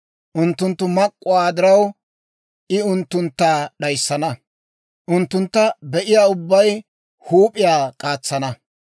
Unttunttu mak'k'uwaa diraw, I unttuntta d'ayissana; unttuntta be'iyaa ubbay huup'iyaa k'aatsana.